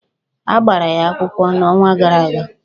A gbara ha akwụkwọ n'ọnwa gara aga